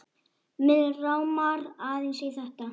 Mig rámar aðeins í þetta.